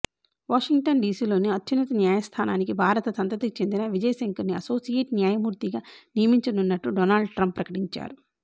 Washington డీసీలోని అత్యున్నత న్యాయస్థానానికి భారత సంతతికి చెందిన విజయ్ శంకర్ను అసోసియేట్ న్యాయమూర్తిగా నియమించనున్నట్టు డొనాల్డ్ ట్రంప్ ప్రకటించారు